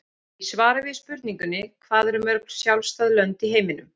Í svari við spurningunni Hvað eru mörg sjálfstæð lönd í heiminum?